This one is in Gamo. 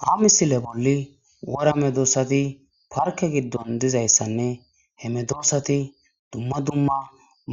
Ha misile bolli wora me doossati parke giddon dizayssanne hemedoossati dumma dumma